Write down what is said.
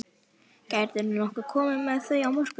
Gætirðu nokkuð komið með þau á morgun?